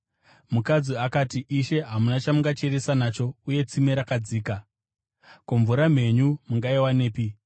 Mukadzi akati, “Ishe, hamuna chamungacheresa nacho uye tsime rakadzika. Ko, mvura mhenyu mungaiwanepi?